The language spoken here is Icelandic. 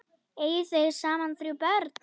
Eiga þau saman þrjú börn.